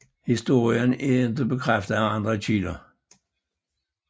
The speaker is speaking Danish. Historien er ikke bekræftet af andre kilder